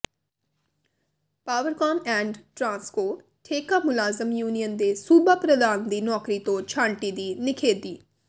Powercom and Transco ਠੇਕਾ ਮੁਲਾਜ਼ਮ union ਦੇ ਸੂਬਾ ਪ੍ਰਧਾਨ ਦੀ ਨੌਕਰੀ ਤੋਂ ਛਾਂਟੀ ਦੀ ਨਿਖੇਧੀ